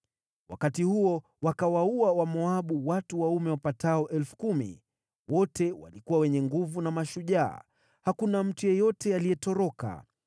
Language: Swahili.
Wakati huo wakawaua Wamoabu watu waume wapatao 10,000 ambao wote walikuwa wenye nguvu na mashujaa; hakuna mtu yeyote aliyetoroka.